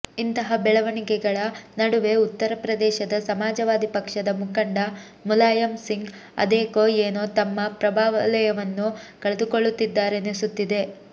ಇಂತಹ ಬೆಳವಣಿಗೆಗಳ ನಡುವೆ ಉತ್ತರ ಪ್ರದೇಶದ ಸಮಾಜವಾದಿ ಪಕ್ಷದ ಮುಖಂಡ ಮುಲಾಯಂ ಸಿಂಗ್ ಅದೇಕೋ ಏನೋ ತಮ್ಮ ಪ್ರಭಾವಲಯವನ್ನು ಕಳೆದುಕೊಳ್ಳುತ್ತಿದ್ದಾರೆನಿಸುತ್ತಿದೆ